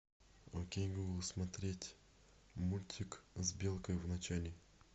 окей гугл смотреть мультик с белкой в начале